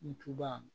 Ntuba